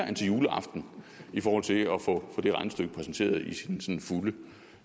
end til juleaften i forhold til at få det regnestykke præsenteret i sin sådan fulde